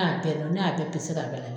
Ne y'a bɛ ne y'a bɛ k'a bɛn n'a